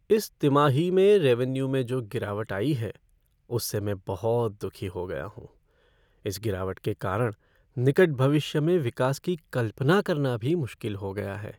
इस तिमाही में रेवेन्यू में जो गिरावट आई है, उससे मैं बहुत दुखी हो गया हूँ। इस गिरावट के कारण निकट भविष्य में विकास की कल्पना करना भी मुश्किल हो गया है।